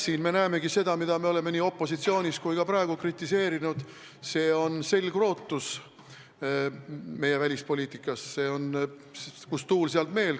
Siin me näemegi seda, mida me oleme nii opositsioonis olles kui ka praegu kritiseerinud: see on meie välispoliitika selgrootus, see on põhimõte, et kust tuul, sealt meel.